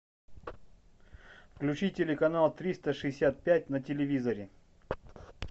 включи телеканал триста шестьдесят пять на телевизоре